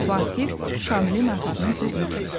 Vasif Şamilin arvadının sözünü kəsdi.